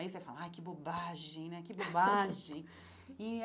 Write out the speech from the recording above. Aí você fala, ah que bobagem né, que bobagem e é.